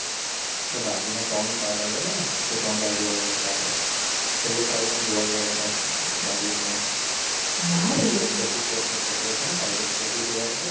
બાઘીના ત્રણ પાર્ટ આયાતને એ ત્રણ પાર્ટ જોવા ગાયતા આપણે. છેલ્લો પાર્ટ પણ જોવા ગાયતા બાધીનું. ના રે. પેલો જેકી શ્રોફનો છોકરો છે ને ટાઇગર શ્રોફ એ જોવા નાત ગયા?